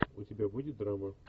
у тебя будет драма